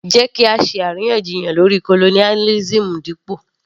Jẹ́ kí á ṣe àríyànjiyàn lórí colonialism dípò